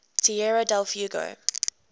tierra del fuego